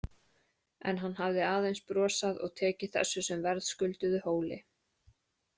En hann hafði aðeins brosað og tekið þessu sem verðskulduðu hóli.